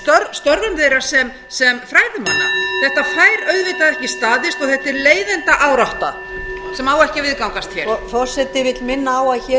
af því að það samræmist ekki störfum þeirra sem fræðimanna þetta fær auðvitað ekki staðist og þetta er leiðindaárátta sem á ekki að viðgangast